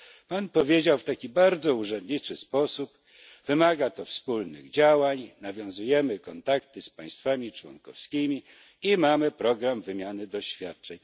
Pan powiedział w taki bardzo urzędniczy sposób wymaga to wspólnych działań, nawiązujemy kontakty z państwami członkowskimi i mamy program wymiany doświadczeń.